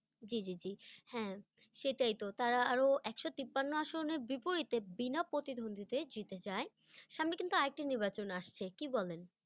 জি জি জি, হ্যাঁ সেটাই তো, তারা আরো একশো তিপ্পান্ন আসনে বিপরীতে, বিনা প্রতিদ্বন্দ্বীতে জিতে যায়, সামনে কিন্তু আর একটি নির্বাচন আসছে, কি বলেন?